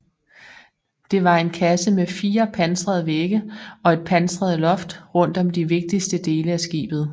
Det var en kasse med fire pansrede vægge og et pansret loft rundt om de vigtigste dele af skibet